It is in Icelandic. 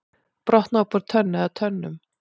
Brotnaði upp úr tönn eða tönnum